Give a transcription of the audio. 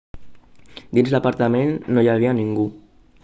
dins l'apartament no hi havia ningú